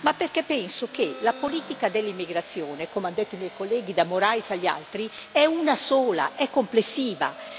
Ma perché penso che la politica dell'immigrazione, come hanno detto i miei colleghi da Moraes agli altri, è una sola, è complessiva.